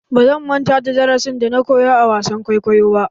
Ba zan manta da darasin da na koyo a wasan kwaikwayo ba.